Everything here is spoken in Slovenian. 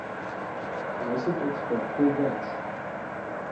Dvajset odstotkov več.